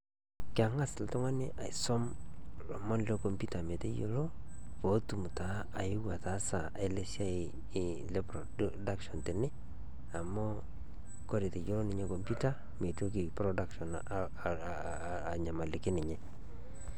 Keng'as iltung'ani aisum ilemon le computer meteyiolo, pootum taa ayeu ataasa ele siai le production tene, amu kore teneyiolou ninye computer ,mitoki production anyamaliki ninye.